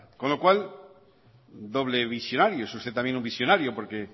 con lo cual doble visionario es usted también un visionario porque